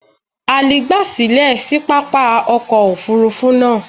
Ali gba silẹ si papa ọkọ ofurufu naa